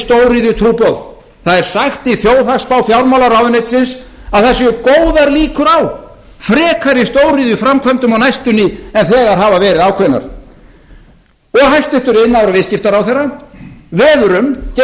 er áframhaldandi stóriðjutrúboð það er sagt í þjóðhagsspá fjármálaráðuneytisins að það séu góðar líkur á frekari stóriðjuframkvæmdum á næstunni en þegar hafa verið ákveðnar og hæstvirtur iðnaðar og viðskiptaráðherra veður um